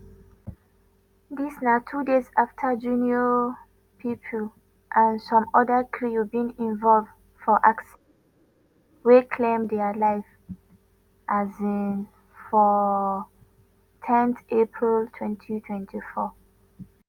dis na two days afta junior pope and some oda crew bin involve for accident wey claim dia life um for ten april 2024.